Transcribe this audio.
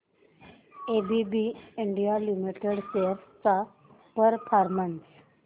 ABB India Limited shares चा performance